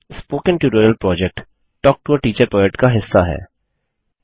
spoken tutorial project talk to a teacher project का हिस्सा है